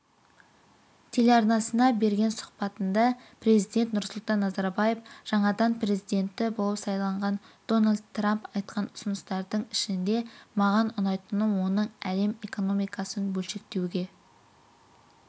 телеарнасына берген сұхбатында президент нұрсұлтан назарбаев жаңадан президенті болып сайланған дональд трамп айтқан ұсыныстардың ішінде маған ұнайтыны оның әлем экономикасын бөлшектеуге